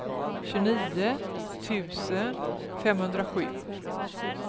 tjugonio tusen femhundrasju